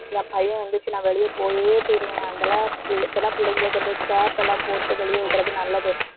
என் பையன் எந்திரிச்சு நான் வெளியே போயே தீருவேன். அந்த அள~ பிள்~ இப்ப எல்லாம் பிள்ளைங்களுக்கும் scarf எல்லாம் போட்டு வெளிய விடறது நல்லது.